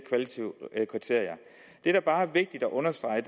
der bare er vigtigt at understrege